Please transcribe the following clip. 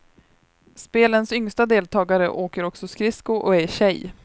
Spelens yngsta deltagare åker också skridsko och är tjej.